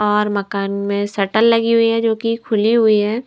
और मकान में शटल लगी हुई है जो कि खुली हुई है।